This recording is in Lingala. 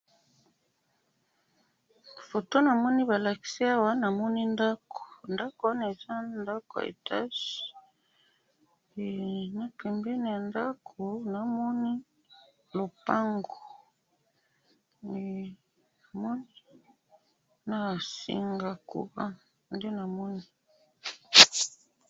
photo na moni ba lakisi awa na moni ndaku ndaku wana eza ya etage na pembeni ya ndaku na moni lopango na singa ya courant